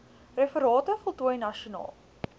referate voltooi nasionaal